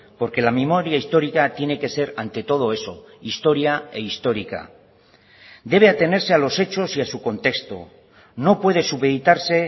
porque la memoria histórica tiene que ser ante todo eso historia e histórica debe atenerse a los hechos y a su contexto no puede supeditarse